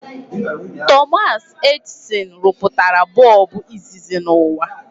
Thomas Edison rụpụtara bọọbụ izizi n'ụwa